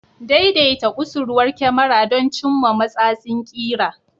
Daidaita kusurwar kyamara don cimma matsatsin ƙira.